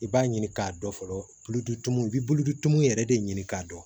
I b'a ɲini k'a dɔn fɔlɔ tulu i bɛ bulu tumu yɛrɛ de ɲini k'a dɔn